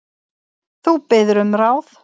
Þú biður um ráð.